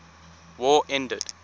war ended